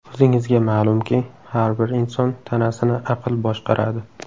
O‘zingizga ma’lumki, har bir inson tanasini aql boshqaradi.